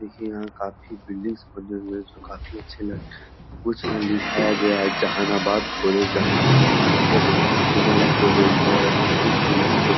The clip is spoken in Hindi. देखिए यहाँ काफी बिल्डिंग बने हुए हैं जो काफी अच्छे कुछ यहाँ दिखाया गया है जहानाबाद कॉलेज जहानाबाद यह बहुत ही पुराना कॉलेज है --